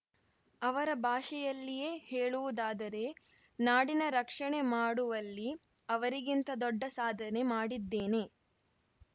ಅವರ ಭಾಷೆಯಲ್ಲಿಯೇ ಹೇಳುವುದಾದರೆ ನಾಡಿನ ರಕ್ಷಣೆ ಮಾಡುವಲ್ಲಿ ಅವರಿಗಿಂತ ದೊಡ್ಡ ಸಾಧನೆ ಮಾಡಿದ್ದೇನೆ